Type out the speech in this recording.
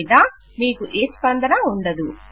లేదా మీకు ఏ స్పందనా ఉండదు